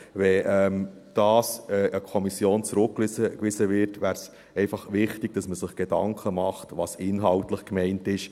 Wenn das an die Kommission zurückgewiesen würde, wäre es einfach wichtig, dass man sich Gedanken darüber macht, was inhaltlich gemeint ist.